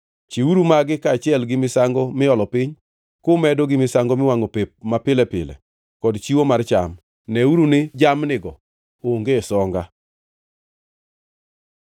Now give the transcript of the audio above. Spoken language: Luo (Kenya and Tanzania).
Chiwuru magi kaachiel gi misango miolo piny, kumedo gi misango miwangʼo pep mapile pile kod chiwo mar cham. Neuru ni jamnigo onge songa.